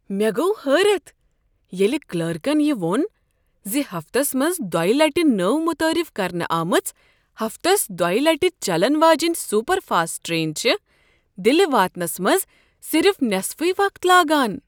مےٚ گوٚو حٲرتھ ییٚلہ کلرکن یہ ووٚن ز ہفتس منٛز دۄیہ لٹہ نٔو متعارف کرنہٕ آمٕژ ہفتس دویہ لٹہِ چلن واجیٚنۍ سُپر فاسٹ ٹرٛین چھےٚ دلہ واتنس منٛز صرف نٮ۪صفٕے وقت لاگان۔!